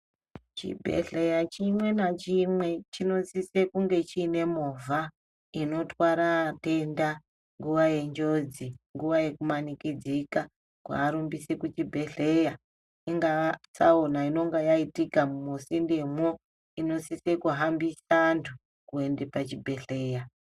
Chibhehleya chimwe nachimwe chinosise kunge chiine movha inotwara atenda nguva yenjodzi, nguva yekumanikidzika kuarumbise kuchibhedhleya. Ingaa tsaona inonga yaitika musindemwo, inosise kuhambisa antu kuende pachibhehleya.